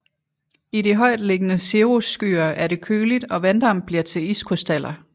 I de højt liggende cirrusskyer er det køligt og vanddamp bliver til iskrystaller